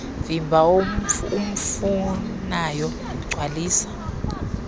vimba umfunayo gcwalisa